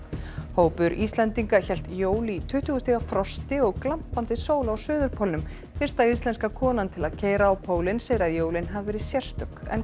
hópur Íslendinga hélt jól í tuttugu stiga frosti og glampandi sól á suðurpólnum fyrsta íslenska konan til að keyra á pólinn segir að jólin hafi verið sérstök en